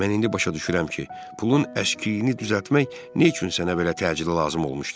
Mən indi başa düşürəm ki, pulun əşkiyini düzəltmək nə üçün sənə belə təcili lazım olmuşdu.